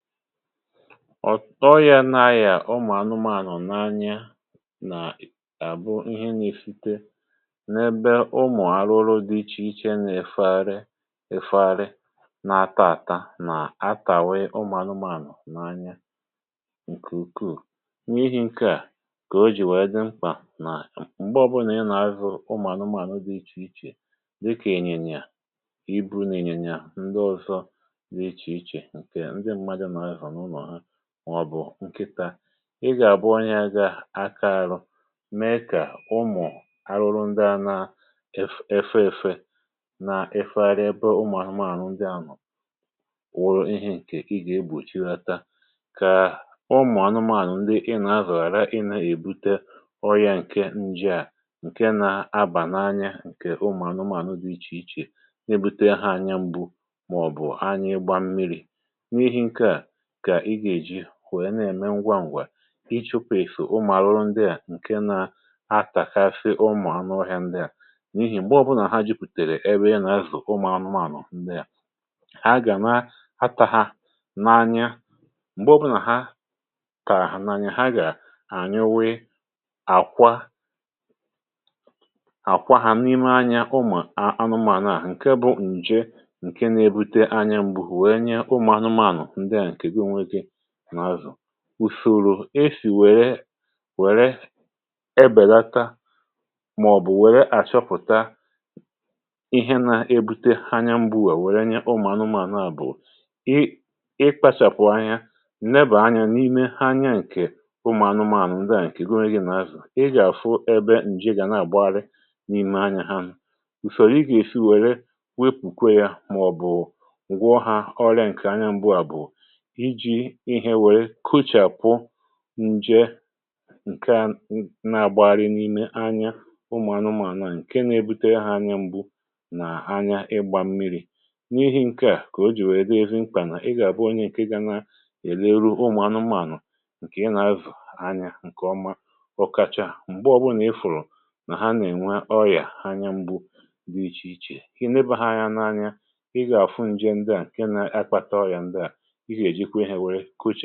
ọ̀tọ yȧ na-ayà ọmà anụmanụ̀ n’anya nà àbụ ihe n’efite n’ebe ụmụ̀ arụrụ dị iche iche, na-efetari efetari, na-ata àta nà-atàwe ọmà anụmanụ̀ n’anya. ǹkè ukwuù, nwee ihe ǹkè à kà o jì wee dị mkpà nà m̀gbe ọbụlà ị nà-azụ̀ ọmà anụmanụ̀ dị iche iche, dịkà ènyènyè à ị bụ̀rụ̀, nà ènyènyè à ndị ọ̀zọ dị iche iche, um mọ̀bụ̀ ǹkịtȧ. Ị gà-àbụ onye gà-akȧ arụ mee kà ụmụ̀ arụrụ ndị à nȧ-efe èfe, nà-efegharị ebe, ụmụ̀ àhụmàànụ̀ ndị anọ̀ wụrụ ihė. ǹkè ị gà-egbòchi ghȧta kà ụmụ̀ ànụmȧànụ̀ ndị ị nà-azọ̀, ghàra ị nà-èbute ọrịȧ ǹke njèà, ǹke nȧ-abà n’anya, ǹkè ụmụ̀ ànụmàànụ̀ dị̀ iche iche na-ebute ha anya m̀gbu màọ̀bụ̀ anya ịgba m̀miri̇. Kà ị gà-èji wèe na-ème ngwaǹgwa ị chụ̀pụ̀ ìsò ụmụ̀alụrụ ndị à, ǹkè nȧ-atàgasị ụmụ̀anụọhịȧ ndị à, n’ihì m̀gbe ọ̀bụnà ha jupùtèrè ebe ị nà-asụ̀ ụmụ̀anụmànụ̀ ndị à, ha gà na-atàhà na-anya. M̀gbe ọbụnà ha kà n’anya, ha gà-ànyuwe àkwa àkwa hȧ n'ime anyȧ, um ụmụ̀anụmànụ̀ à ǹkè bụ ǹje ǹkè na-ebute anya m̀bụ. Wèe nye ụmụ̀anụmànụ̀ ndị à ùsòrò esì wèrè wèrè ebèlata, màọ̀bụ̀ wèrè àchọpụ̀ta ihe na-ebute ha anya m̀bụ à, wèrè nye ụmụ̀ anụmȧna bụ̀ i kpachàpụ̀ anya nne bà anya n’ime ha. Anya ǹkè ụmụ̀ anụmȧna ụ̀dị à ǹkè gụnwe gị̇ nà azụ̀, ị gà-àfụ ebe ǹji gà na-àgbarị n’ime anya ha. Mụ̀ ùsòrò ị gà-èsi wèrè wepùkwe ya, màọ̀bụ̀ ǹgwaọha ọrịa ǹkè anya m̀bụ à, bụ̀ ihe wèe kuchàkwu nje ǹkè nà-àgbàgharị n’ime anya ụmụ̀anụmànụ̀, ǹkè na-ebute ha anya m̀gbu nà anya ịgbȧ mmi̇ri. N’ihi ǹkè à, kà o jì wèe dịe vimkpà, nà ị gà-àbụ onye ǹkè na-èleru ụmụ̀anụmànụ̀ ǹkè ị nà-avù anya ǹkè ọma, ọkacha um m̀gbe ọbụrụ nà i fùrù nà ha nà-ènwe ọyà anya. M̀gbè iche iche, kà ị nėbè ha anya n’anya, ị gà-àfụ nje ndị à ǹkè na-akpata ọrìà ndị à, ǹkẹ̀ẹ̀ ọrụ, kà ọ nà-ànye yȧ n’enyo ȧ.